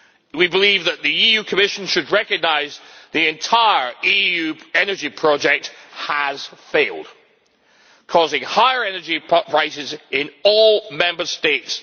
We believe that the EU Commission should recognise that the entire EU energy project has failed, causing higher energy prices in all Member States.